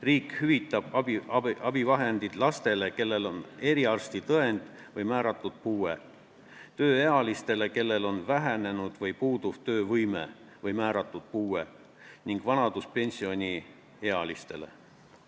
Riik hüvitab abivahendid lastele, kellel on eriarstitõend või määratud puue, tööealistele, kellel on vähenenud või puuduv töövõime või määratud puue, ning vanaduspensioniealistele.